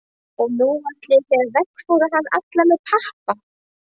Og nú ætluðu þeir að veggfóðra hann allan með pappa.